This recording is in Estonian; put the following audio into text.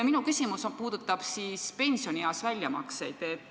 Minu küsimus puudutab aga pensionieas tehtavaid väljamakseid.